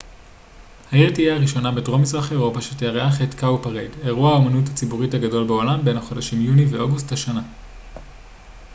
העיר תהיה הראשונה בדרום מזרח אירופה שתארח את ה cowparade אירוע האמנות הציבורית הגדול בעולם בין החודשים יוני ואוגוסט השנה